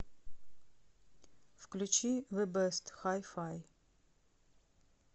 включи зэ бэст хай фай